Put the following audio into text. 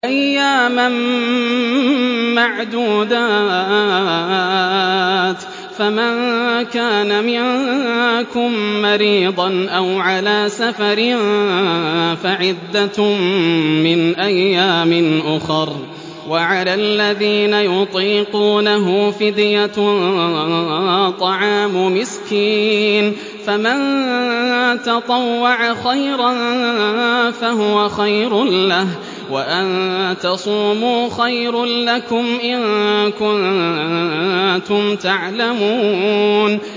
أَيَّامًا مَّعْدُودَاتٍ ۚ فَمَن كَانَ مِنكُم مَّرِيضًا أَوْ عَلَىٰ سَفَرٍ فَعِدَّةٌ مِّنْ أَيَّامٍ أُخَرَ ۚ وَعَلَى الَّذِينَ يُطِيقُونَهُ فِدْيَةٌ طَعَامُ مِسْكِينٍ ۖ فَمَن تَطَوَّعَ خَيْرًا فَهُوَ خَيْرٌ لَّهُ ۚ وَأَن تَصُومُوا خَيْرٌ لَّكُمْ ۖ إِن كُنتُمْ تَعْلَمُونَ